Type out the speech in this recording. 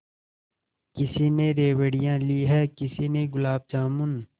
किसी ने रेवड़ियाँ ली हैं किसी ने गुलाब जामुन